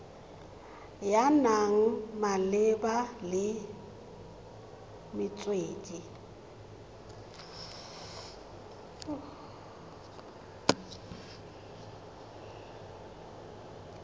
ya naga malebana le metswedi